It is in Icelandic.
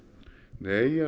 nei ég